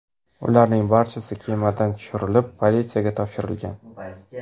Ularning barchasi kemadan tushirilib, politsiyaga topshirilgan.